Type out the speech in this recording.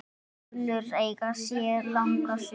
Núðlur eiga sér langa sögu.